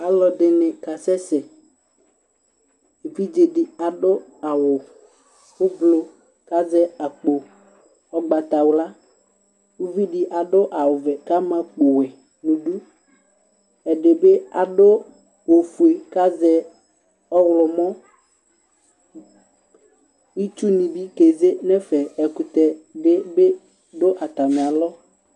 Ɔlɔdɩ nɩ kasɛ sɛ Evidze dɩ adʋ aɣʋ evle kʋ azɛ akpo ʋgbatawla, kʋ uvi dɩ adʋ aɣʋ ɔvɛ kʋ ama akpo ɔwɛ nʋ idu, ɛdɩ bɩ adʋ fiefie kʋ azɛ ɔɣlɔmɔ Itsu nɩ bɩ ke ze nʋ ɛfɛ, ɛkʋtɛ nɩ bɩ dʋ atamɩ alɔ